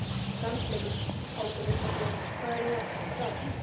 Dansleikur? át hún upp eftir honum, hvað er nú það?